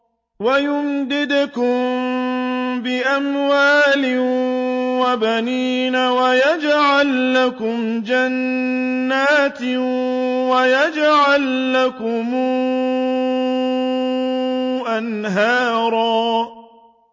وَيُمْدِدْكُم بِأَمْوَالٍ وَبَنِينَ وَيَجْعَل لَّكُمْ جَنَّاتٍ وَيَجْعَل لَّكُمْ أَنْهَارًا